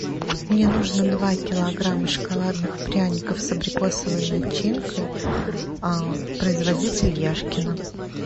мне нужно два килограмма шоколадных пряников с абрикосовой начинкой производитель яшкино